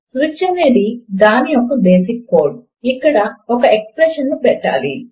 switch అనేది దాని యొక్క బేసిక్ కోడ్ ఇక్కడ ఒక ఎక్స్ప్రెషన్ ను పెట్టాలి